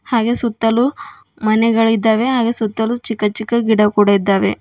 ಹಾಗೇ ಸುತ್ತಲೂ ಮನೆಗಳಿದ್ದಾವೆ ಹಾಗೆ ಸುತ್ತಲೂ ಚಿಕ್ಕಚಿಕ್ಕ ಗಿಡ ಕೂಡ ಇದ್ದಾವೆ.